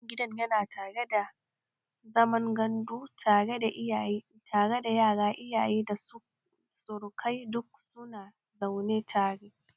Wannan gidan yana haɗe da zaman gandu tare da yara, iyaye, da surukai duk su na zaune tare